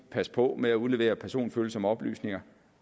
passe på med at udlevere personfølsomme oplysninger